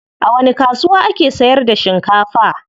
A wani kasuwa ake sayar da shinkafa?